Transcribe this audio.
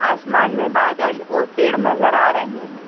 आसमान में बादल और पेड़ नजर आ रहे हैं।